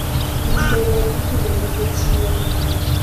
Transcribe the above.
Winy bende ipidho nikech yier gi.